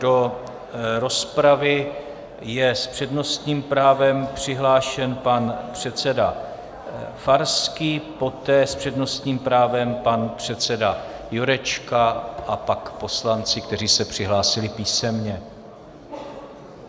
Do rozpravy je s přednostním právem přihlášen pan předseda Farský, poté s přednostním právem pan předseda Jurečka a pak poslanci, kteří se přihlásili písemně.